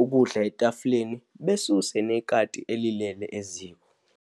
ukudla etafuleni, besuse nekati elilele eziko.